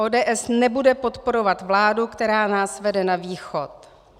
ODS nebude podporovat vládu, která nás vede na východ.